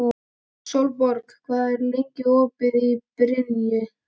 Sólborg, hvað er lengi opið í Brynju?